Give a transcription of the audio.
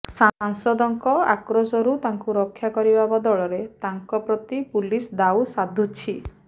ସାଂସଦଙ୍କ ଆକ୍ରୋଶରୁ ତାଙ୍କୁ ରକ୍ଷା କରିବା ବଦଳରେ ତାଙ୍କ ପ୍ରତି ପୁଲିସ ଦାଉ ସାଧୁଛି